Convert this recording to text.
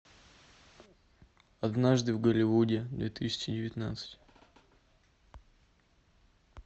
однажды в голливуде две тысячи девятнадцать